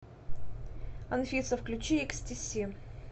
афина включи икстиси